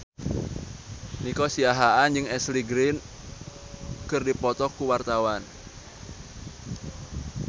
Nico Siahaan jeung Ashley Greene keur dipoto ku wartawan